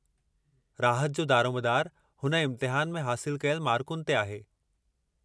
राहत जो दारोमदारु हुन इम्तिहान में हासिलु कयल मारकुनि ते आहे।